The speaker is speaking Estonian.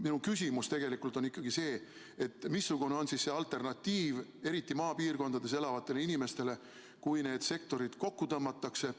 Minu küsimus on ikkagi see, missugune on siis alternatiiv eriti maapiirkondades elavatele inimestele, kui need sektorid kokku tõmmatakse.